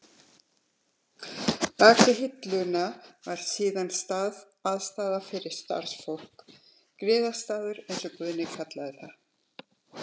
Bak við hillurnar var síðan aðstaða fyrir starfsfólk, griðastaður, eins og Guðni kallaði það.